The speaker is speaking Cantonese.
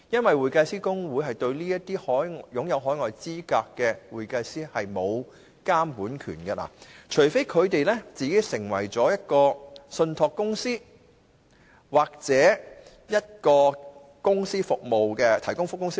會計師公會對於持有海外資格的會計師是沒有監管權的，除非他們成為信託公司或註冊成為提供服務的公司。